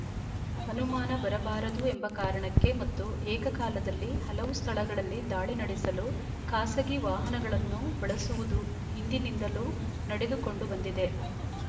ಅನುಮಾನ ಬರಬಾರದು ಎಂಬ ಕಾರಣಕ್ಕೆ ಮತ್ತು ಏಕಕಾಲದಲ್ಲಿ ಹಲವು ಸ್ಥಳಗಳಲ್ಲಿ ದಾಳಿ ನಡೆಸಲು ಖಾಸಗಿ ವಾಹನಗಳನ್ನು ಬಳಸುವುದು ಹಿಂದಿನಿಂದಲೂ ನಡೆದುಕೊಂಡು ಬಂದಿದೆ